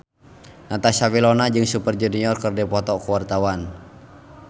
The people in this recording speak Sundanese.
Natasha Wilona jeung Super Junior keur dipoto ku wartawan